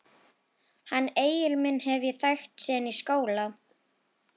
Hann Egil minn hef ég þekkt síðan í skóla.